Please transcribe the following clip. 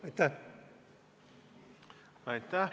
Aitäh!